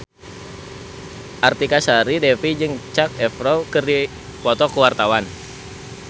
Artika Sari Devi jeung Zac Efron keur dipoto ku wartawan